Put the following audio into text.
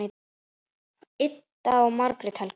Ida og Margrét Helga.